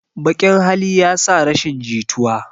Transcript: Baƙn hali yasa rashin jituwa